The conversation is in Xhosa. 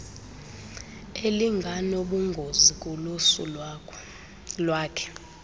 elinganobungozi kulusu lwakhe